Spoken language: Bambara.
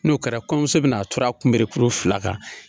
N'o kɛra kɔɲɔmuso bɛna a turu a kunberekuru fila kan.